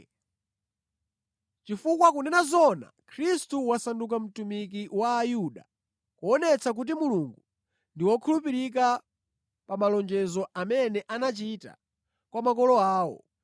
Chifukwa kunena zoona, Khristu wasanduka mtumiki wa Ayuda, kuonetsa kuti Mulungu ndi wokhulupirika pa malonjezo amene anachita kwa makolo awo